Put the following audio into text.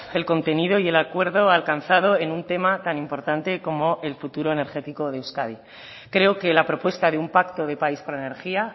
el contenido y el acuerdo alcanzado en un tema tan importante como el futuro energético de euskadi creo que la propuesta de un pacto de país por la energía